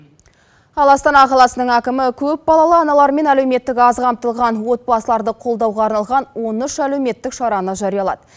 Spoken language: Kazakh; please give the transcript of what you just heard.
ал астана қаласының әкімі көпбалалы аналар мен әлеуметтік аз қамтылған отбасыларды қолдауға арналған он үш әлеуметтік шараны жариялады